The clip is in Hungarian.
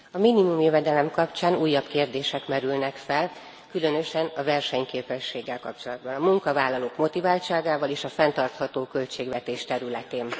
Elnök Úr! A minimumjövedelem kapcsán újabb kérdések merülnek fel, különösen a versenyképességgel kapcsolatban, a munkavállalók motiváltságával és a fenntartható költségvetés területén.